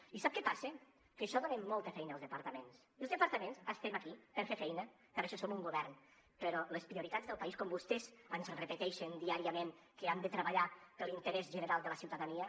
i sap què passa que això dona molta feina als departaments i els departaments estem aquí per fer feina per això som un govern però les prioritats del país com vostès ens repeteixen diàriament que han de treballar per l’interès general de la ciutadania